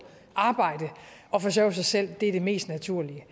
arbejde og forsørge sig selv er det mest naturlige det